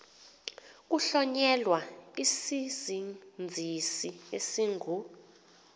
kuhlonyelwa isizinzisi esingu